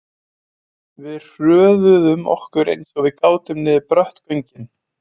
Við hröðuðum okkur eins og við gátum niður brött göngin.